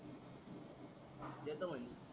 देतो म्हणले